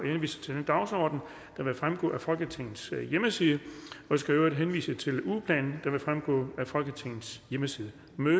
henviser til den dagsorden der vil fremgå af folketingets hjemmeside jeg skal i øvrigt henvise til ugeplanen der også vil fremgå af folketingets hjemmeside